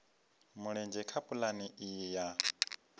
mulenzhe kha pulane iyi ya